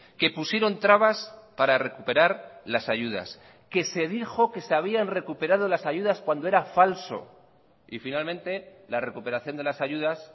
que pusieron trabas para recuperar las ayudas que se dijo que se habían recuperado las ayudas cuando era falso y finalmente la recuperación de las ayudas